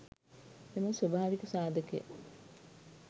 එම ස්වභාවික සාධකය